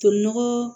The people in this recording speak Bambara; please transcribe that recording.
Tolinɔgɔ